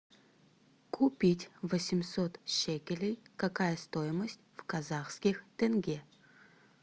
купить восемьсот шекелей какая стоимость в казахских тенге